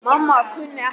Mamma kunni ekkert.